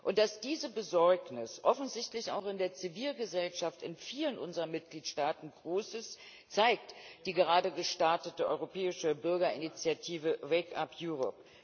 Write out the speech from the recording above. Und dass diese Besorgnis offensichtlich auch in der Zivilgesellschaft in vielen unserer Mitgliedstaaten großen Widerhall findet, zeigt die gerade gestartete europäische Bürgerinitiative Wake Up Europe